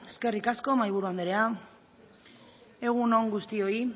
defendatzeko eskerrik asko mahaiburu anderea egun on guztioi